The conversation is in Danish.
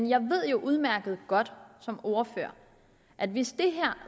jeg ved udmærket godt som ordfører at hvis det